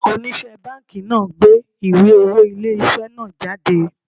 Onise banki náà gbé ìwé owó ilé isẹ náà jáde